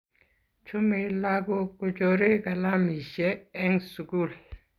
Chomei lakok kochorei kalamishe eng sukul.